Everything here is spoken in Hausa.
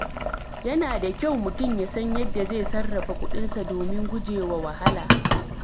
Yana da kyau mutum ya san yadda zai sarrafa kuɗinsa domin guje wa wahala.